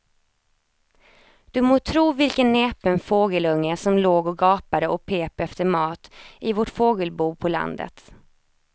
Du må tro vilken näpen fågelunge som låg och gapade och pep efter mat i vårt fågelbo på landet.